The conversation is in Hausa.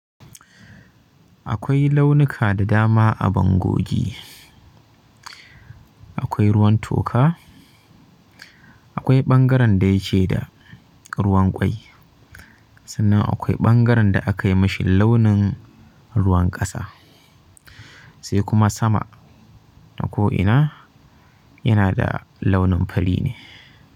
Akwai launuka da dama a bangogi akwai ruwan toka, akwai ɓangaren da yake da ruwan ƙwai, sannan akwai ɓangaren da akai mashi launin ruwan ƙasa sai kuma sama da ko ina yana da launin fari ne.